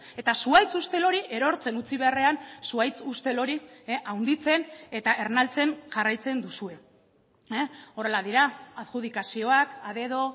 eta zuhaitz ustel hori erortzen utzi beharrean zuhaitz ustel hori handitzen eta ernaltzen jarraitzen duzue horrela dira adjudikazioak a dedo